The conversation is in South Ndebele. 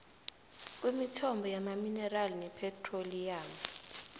kwemithombo yamaminerali nephethroliyamu